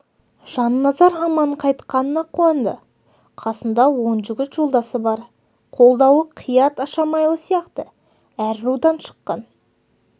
жанназар аман қайтқанына қуанды қасында он жігіт жолдасы бар қолдаулы қият ашамайлы сияқты әр рудан шыққан